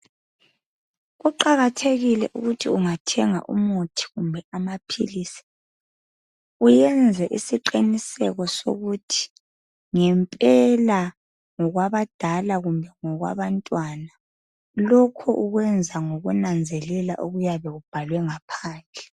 Kuqakathekile ukuthi ungathenga umuthi kumbe amaphilisi, uyenze isiqiniseko sokuthi ngempela ngokwabadala kumbe ngokwabantwana. Lokhu okwenza ngokunanzelela okuyabe kubhalwe ngaphandle.